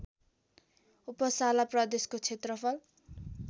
Uppsala प्रदेशको क्षेत्रफल